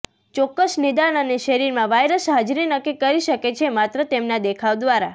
ચોક્કસ નિદાન અને શરીરમાં વાયરસ હાજરી નક્કી કરી શકે છે માત્ર તેમના દેખાવ દ્વારા